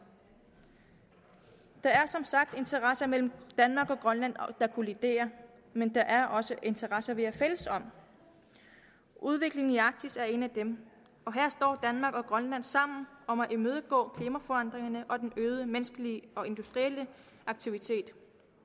der er som sagt interesser mellem danmark og grønland der kolliderer men der er også interesser vi er fælles om udviklingen i arktis er en af dem her står danmark og grønland sammen om at imødegå klimaforandringerne og den øgede menneskelige og industrielle aktivitet